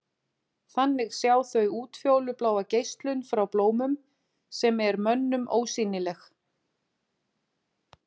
Þannig sjá þau útfjólubláa geislun frá blómum sem er mönnum ósýnileg.